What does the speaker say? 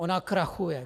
Ona krachuje.